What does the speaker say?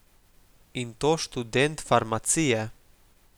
In to študent farmacije.